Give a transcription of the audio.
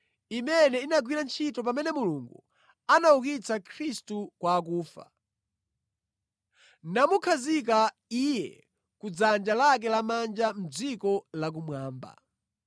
imene inagwira ntchito pamene Mulungu anaukitsa Khristu kwa akufa, namukhazika Iye ku dzanja lake lamanja mʼdziko la kumwamba.